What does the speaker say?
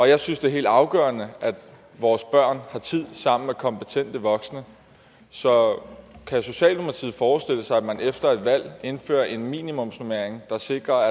jeg synes det er helt afgørende at vores børn har tid sammen med kompetente voksne så kan socialdemokratiet forestille sig at man efter et valg indfører en minimumsnormering der sikrer